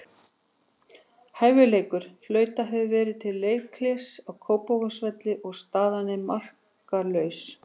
Hálfleikur: Flautað hefur verið til leikhlés á Kópavogsvelli og staðan enn markalaus.